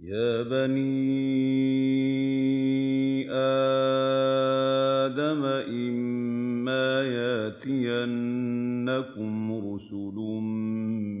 يَا بَنِي آدَمَ إِمَّا يَأْتِيَنَّكُمْ رُسُلٌ